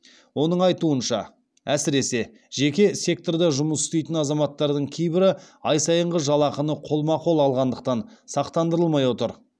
оның айтуынша әсіресе жеке секторда жұмыс істейтін азаматтардың кейбірі ай сайынғы жалақыны қолма қол алғандықтан сақтандырылмай отыр